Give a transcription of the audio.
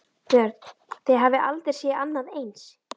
Björn: Þið hafið aldrei séð annað eins?